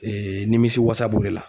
nimisiwasa b'o de la.